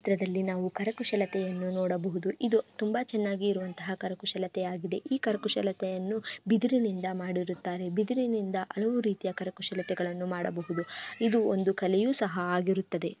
ಈ ಚಿತ್ರದಲ್ಲಿ ನಾವು ಕರಕುಶಲತೆಯನ್ನು ನೊಡಬಹುದು ತುಂಬಾ ಚೆನ್ನಾಗಿ ಇರುವಂತಹ ಕರಕುಶಲತೆಯಾಗಿದೆ ಈ ಕರಕುಶಲತೆಯನ್ನು ಬಿದಿರಿನಿಂದ ಮಾಡಿರುತ್ತಾರೆ ಬಿದಿರಿನಿಂದ ಹಲವು ಕರಕುಶಲತೆಯನ್ನು ಮಾಡಬಹುದು ಇದು ಒಂದು ಕಲೆಯು ಸಹ ಆಗಿರತ್ತದೆ .